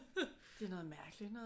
Det er noget mærkeligt noget